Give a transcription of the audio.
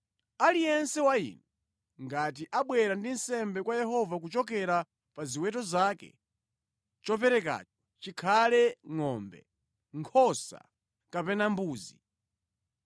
“Aliyense wa inu ngati abwera ndi nsembe kwa Yehova kuchokera pa ziweto zake, choperekacho chikhale ngʼombe, nkhosa kapena mbuzi.